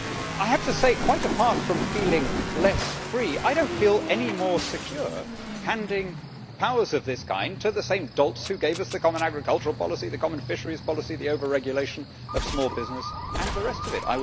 I have to say, quite apart from feeling less free, I do not feel any more secure handing powers of this kind to the same dolts who gave us the common agricultural policy, the common fisheries policy, the overregulation of small business and the rest of it.